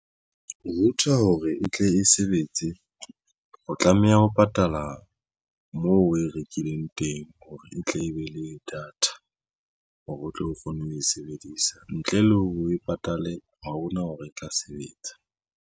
Router hore e tle e sebetse o tlameha ho patala moo o e rekileng teng hore e tle e be le data hore o tle o kgone ho e sebedisa ntle le o patale ha hona hore e tla sebetsa.